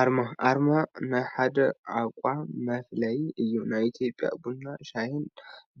አርማ አርማ ናይ ሓደ ተቋም መፍለይ እዩ፡፡ ናይ ኢትዮጵያ ቡናን ሻሂን